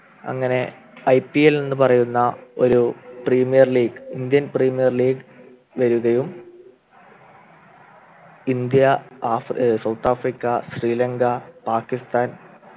അങ്ങനെ IPL എന്ന് പറയുന്ന ഒരു premier league Indian premier league വരികയും ഇന്ത്യ ആഫ്രി south ആഫ്രിക്ക ശ്രീലങ്ക പാക്കിസ്ഥാൻ